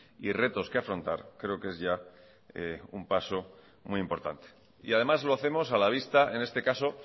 y retos que afrontar creo que es ya un paso muy importante y además lo hacemos a la vista en este caso